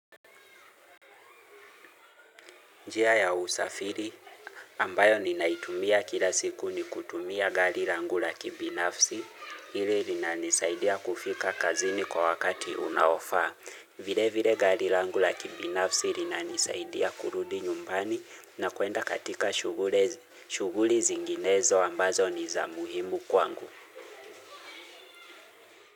Njia ya usafiri ambayo ninaitumia kila siku ni kutumia gari langu la kibinafsi hili linanisaidia kufika kazini kwa wakati unaofaa. Vile vile gari langu la kibinafsi linanisaidia kurudi nyumbani na kwenda katika shuguli zinginezo ambazo ni za muhimu kwangu.